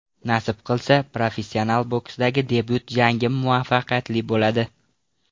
Nasib qilsa, professional boksdagi debyut jangim muvaffaqiyatli bo‘ladi.